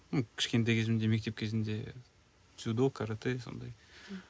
кішкентай кезімде мектеп кезінде дзюдо каратэ сондай